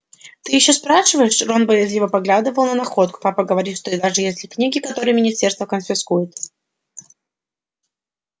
ты ещё спрашиваешь рон боязливо поглядывал на находку папа говорит даже если книги которые министерство конфискует